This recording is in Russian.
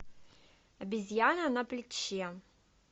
обезьяна на плече